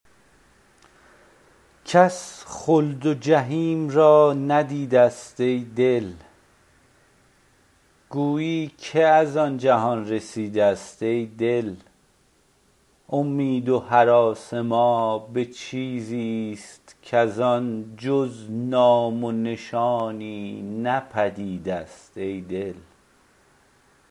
کس خلد و جحیم را ندیده است ای دل گویی که از آن جهان رسیده است ای دل امید و هراس ما به چیزی ست کزان جز نام نشانی نه پدید است ای دل